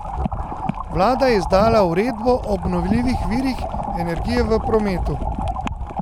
Vlada je izdala uredbo o obnovljivih virih energije v prometu.